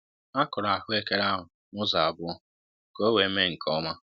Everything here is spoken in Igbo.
A kụrụ ahụekere ahụ n'ụzọ abụọ ka owe mee nkè ọma